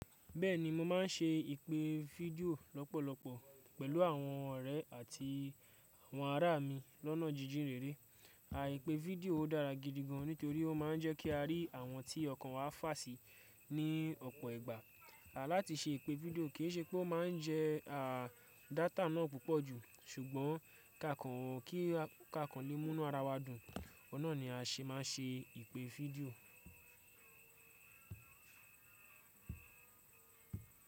Bẹ́ẹ̀ni, mo máa ń ṣe ìpè fídíò lọ́pọ̀lọpọ̀ pẹ̀lú àwọn ọ̀rẹ́ àti àwọn ará mi lọ́nà jíjìn rere. Àìpè fídíò o dára gidi gan nítorí ó máa ń jẹ́ kí a rí àwọn tí ọkàn wa fà sí ní ọ̀pọ̀ ìgbà. À láti ṣe ìpè fídíò kì í ṣe pé ó máa ń jẹ à dátà náà púpọ̀ jù, ṣùgbọ́n kàkàn kí kàkàn lè múnú ara wa dùn, oun naa ni a ṣe máa ń ṣe ìpè fídíò.